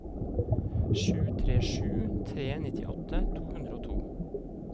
sju tre sju tre nittiåtte to hundre og to